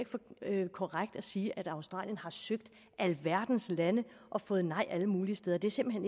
ikke korrekt at sige at australien har søgt alverdens lande og fået nej alle mulige steder det er simpelt